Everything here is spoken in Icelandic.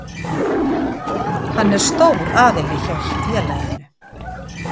Hann er stór aðili hjá félaginu.